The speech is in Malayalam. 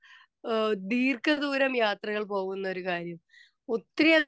സ്പീക്കർ 2 അഹ് ദീർഘദൂരം യാത്രകൾ പോകുന്ന ഒരു കാര്യം ഒത്തിരി